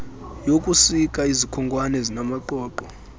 yokusika izikhonkwane ezinamaqoqo